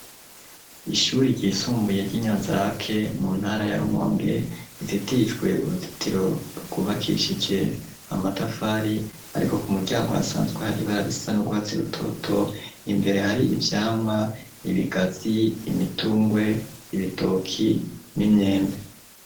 Ishure ryisumbuye ry'inyanzarake mu ntara ya rumonge ruzitirijwe uruzitiro rwubakishije amatafari ariko ku muryango hasanzwe hari ibara risa n'urwatsi rutoto imbere hari ivyamwa, ibigazi, imitungwe y'ibitoki n'imyembe.